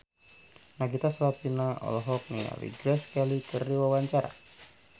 Nagita Slavina olohok ningali Grace Kelly keur diwawancara